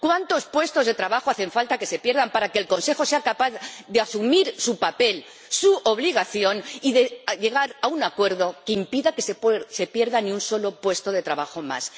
¿Cuántos puestos de trabajo hace falta que se pierdan para que el Consejo sea capaz de asumir su papel, su obligación, y de llegar a un acuerdo que impida que se pierda ni un solo puesto de trabajo más?